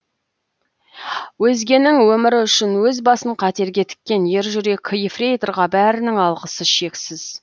өзгенің өмірі үшін өз басын қатерге тіккен ержүрек ефрейторға бәрінің алғысы шексіз